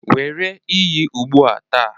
Were iyi ugbu a taa